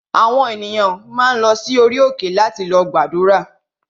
Àwọn ènìyàn máa ń lọ sí orí òkè láti lọ gbàdúrà